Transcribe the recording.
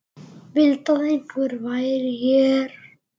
Vildi að einhver væri hér.